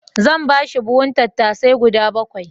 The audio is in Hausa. Zan ba shi buhun tattasai guda bakwai.